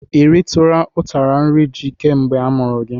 I utara nri ji kemgbe a mụrụ gị?